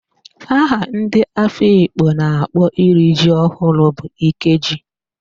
Aha ndị Afikpo na-akpọ iri ji ọhụrụ bụ Ikeji